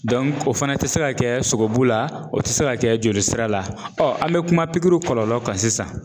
o fana te se ka kɛ sogobu la ,o te se ka kɛ jolisira la an be kuma pikiriw kɔlɔlɔ kan sisan.